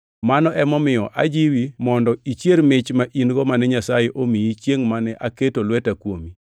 Mano emomiyo ajiwi mondo ichier mich ma in-go mane Nyasaye omiyi chiengʼ mane aketo lweta kuomi.